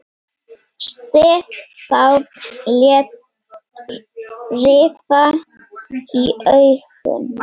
Stefán lét rifa í augun.